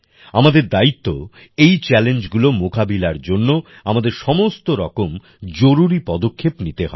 আমাদের দায়িত্ব এই চ্যালেঞ্জগুলো মোকাবিলার জন্য আমাদের সমস্ত রকমের জরুরি পদক্ষেপ নিতে হবে